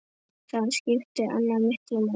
Þar skipti Anna miklu máli.